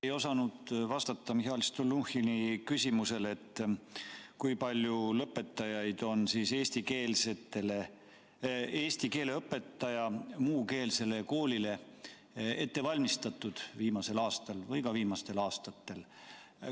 Te ei osanud vastata Mihhail Stalnuhhini küsimusele, et kui palju lõpetajaid on eesti keele õpetajatena muukeelsetele koolidele ette valmistatud viimasel aastal või ka viimastel aastatel.